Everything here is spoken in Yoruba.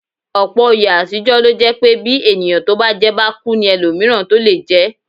Ọ̀pọ̀ oyè àtijọ́ lo jẹ́ pé bí ẹni tó bá jẹ́ bá kú ní ẹlòmíràn tó lè jẹ́